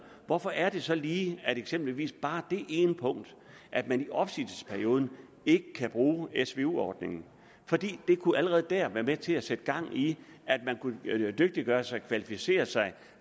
hvorfor er det så lige at der eksempelvis bare er det ene punkt at man i opsigelsesperioden ikke kan bruge svu ordningen for det kunne allerede være med til at sætte gang i at man kunne dygtiggøre sig og kvalificere sig